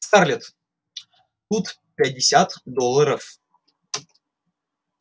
скарлетт тут пятьдесят долларов